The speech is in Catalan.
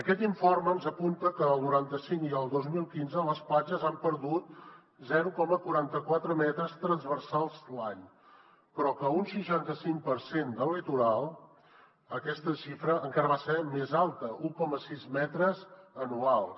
aquest informe ens apunta que entre el noranta cinc i el dos mil quinze les platges han perdut zero coma quaranta quatre metres transversals l’any però que a un seixanta cinc per cent del litoral aquesta xifra encara va ser més alta un coma sis metres anuals